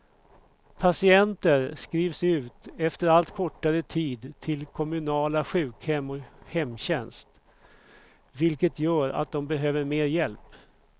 Patienter skrivs ut efter allt kortare tid till kommunala sjukhem och hemtjänst, vilket gör att de behöver mer hjälp.